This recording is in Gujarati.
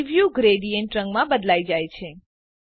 પ્રીવ્યું ગ્રેડીએન્ટ ઢાળ રંગમાં બદલાઈ જાય છે